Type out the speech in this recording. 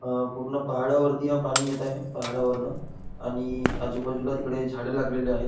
हा पूर्ण पहाडावरती हा पाणी येत आहे पहाडावरन आणि आजूबाजूला इकडे झाड लागलेली आहेत.